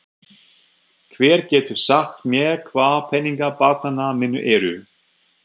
Hver getur sagt mér hvar peningar barnanna minna eru?